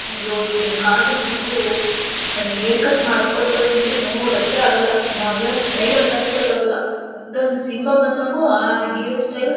ಅಯ್ಯೋ ಈಗಿನಕಾಲದಲ್ಲಿ ಹುಡುಗರು ಒಂದ್ ಹೇರ್ ಕಟ್ ಮಾಡಸ್ಕೊಳತರೆ ನೋಡಿ ನೋಡಕ್ಕೆ ಆಗಲ್ಲಾ ಯಾವ್ ಯಾವ್ ಸ್ಟೈಲ್ ಅಂತಾನೇ ಗೊತ್ತಾಗಲ್ಲಾ ಒಂದ್ ಒಂದು ಸಿನಿಮಾ ಬಂದಂಗು ಆ ಹೀರೋ ಸ್ಟೈಲ್ --